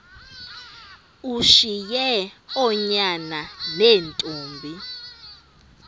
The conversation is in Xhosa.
ushiye oonyana neentombi